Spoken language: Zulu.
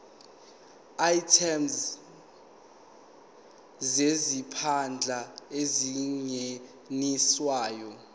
items zezimpahla ezingeniswayo